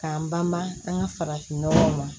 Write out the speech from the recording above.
K'an banba an ka farafinnɔgɔw ma